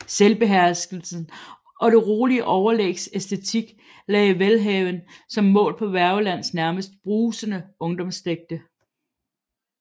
Selvbeherskelsens og det rolige overlægs æstetik lagde Welhaven som mål på Wergelands næmest brusende ungdomsdigte